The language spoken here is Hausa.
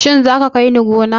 Shin za ka kai ni gona?